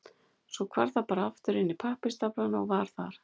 Svo hvarf það bara aftur inn í pappírsstaflana og var þar.